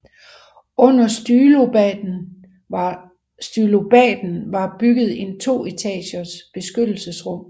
Under stylobaten var bygget en to etagers beskyttelsesrum